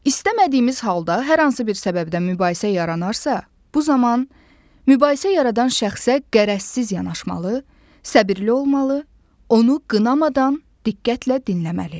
İstəmədiyimiz halda hər hansı bir səbəbdən mübahisə yaranarsa, bu zaman mübahisə yaradan şəxsə qərəzsiz yanaşmalı, səbirli olmalı, onu qınamadan diqqətlə dinləməli.